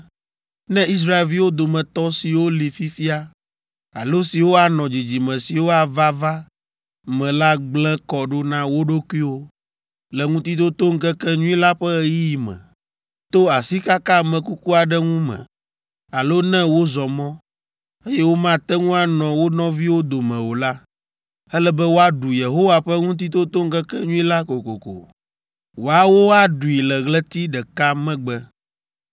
“Ne Israelviwo dometɔ siwo li fifia alo siwo anɔ dzidzime siwo ava va me la gblẽ kɔ ɖo na wo ɖokuiwo le Ŋutitotoŋkekenyui la ƒe ɣeyiɣi me, to asikaka ame kuku aɖe ŋu me, alo ne wozɔ mɔ, eye womate ŋu anɔ wo nɔviwo dome o la, ele be woaɖu Yehowa ƒe Ŋutitotoŋkekenyui la kokoko. Woawo aɖui le ɣleti ɖeka megbe,